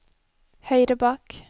høyre bak